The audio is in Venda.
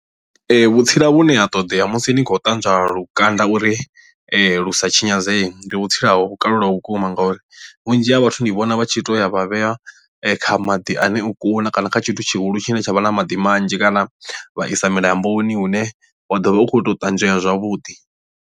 Ee vhutsila vhune ha ṱodea musi ni khou ṱanzwa lukanda uri lusa tshinyadzee ndi vhutsila ha vho kalulaho vhukuma ngauri vhunzhi ha vhathu ndi vhona vha tshi to ya vha vhea kha maḓi ane o kuna kana kha tshithu tshihulu tshine tsha vha na maḓi manzhi kana vha isa milamboni hune wa ḓovha u khou tou ṱanzwea zwavhuḓi.